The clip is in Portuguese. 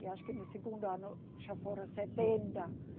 E acho que no segundo ano já foram setenta.